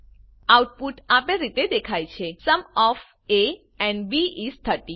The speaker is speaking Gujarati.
આઉટપુટ આપેલ રીતે દેખાય છે sum of A and B is 30